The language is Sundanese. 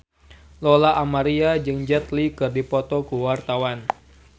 Lola Amaria jeung Jet Li keur dipoto ku wartawan